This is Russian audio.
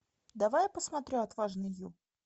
давай я посмотрю отважный ю